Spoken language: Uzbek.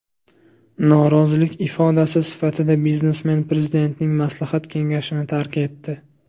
Norozilik ifodasi sifatida biznesmen prezidentning maslahat kengashini tark etdi.